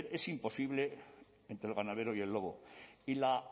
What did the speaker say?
es imposible entre el ganadero y el lobo y la